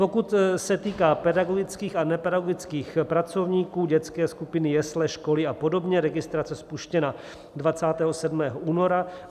Pokud se týká pedagogických a nepedagogických pracovníků, dětské skupiny, jesle, školy a podobně, registrace spuštěna 27. února.